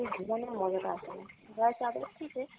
ঘুমানোর মজা টা আসেনা, গায়ে চাদর দিলে।